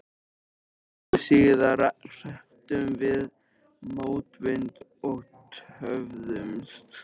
Stuttu síðar hrepptum við mótvind og töfðumst.